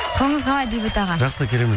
қалыңыз қалай бейбіт аға жақсы керемет